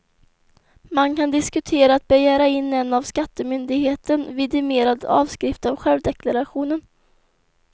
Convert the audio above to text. Man kan diskutera att begära in en av skattemyndigheten vidimerad avskrift av självdeklarationen.